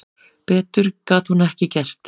Betur gat hún ekki gert.